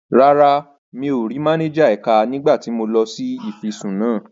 Rárá, mi ò rí máníjà ẹ̀ka nígbà tí mo lọ ṣe ìfisùn náà lánàá.